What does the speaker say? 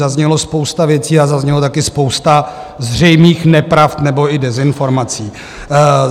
Zazněla spousta věcí a zazněla také spousta zřejmých nepravd nebo i dezinformací.